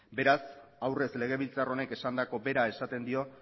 beraz aurrez legebiltzar honek esandako bera esaten dio